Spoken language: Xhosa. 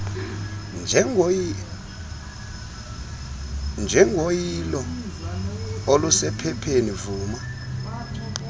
njengoyilo olusephepheni vuma